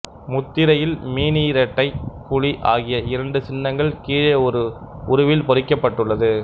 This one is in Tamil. முத்திரையில் மீனிரட்டை புலி ஆகிய இரண்டு சின்ங்கள் கீழே ஒரு உருவில் பொறிக்கப்பட்டுள்ளது